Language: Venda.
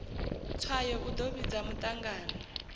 tswayo u ḓo vhidza muṱangano